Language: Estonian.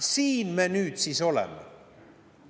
Siin me nüüd siis oleme!